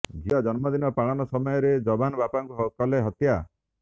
ଝିଅ ଜନ୍ମଦିନ ପାଳନ ସମୟରେ ଯବାନ ବାପାଙ୍କୁ କଲେ ହତ୍ୟା